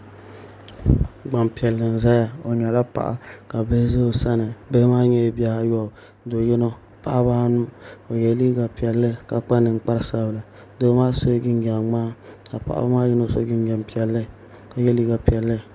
Gbanpiɛli n ʒɛya o nyɛla paɣa ka bihi ʒɛ o sani bihi maa nyɛla bihi ayobu do yino paɣaba anu o yɛ liiga piɛlli ka kpa ninkpari sabinli doo maa sila jinjɛm ŋmaa ka paɣaba maa yino so jinjɛm piɛlli ka yɛ liiga piɛlli